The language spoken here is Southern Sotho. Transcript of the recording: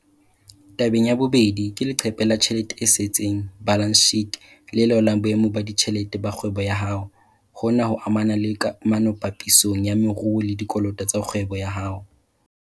Tabeng ya bobedi, ke leqephe la tjhelete e setseng, balance sheet, le laolang boemo ba ditjhelete ba kgwebo ya hao. Hona ho amana le kamano papisong ya maruo le dikoloto tsa kgwebo ya hao.